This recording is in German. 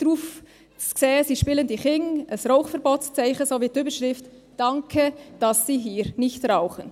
Darauf zu sehen sind spielende Kinder, ein Rauchverbotszeichen sowie die Überschrift «Danke, dass Sie hier nicht rauchen».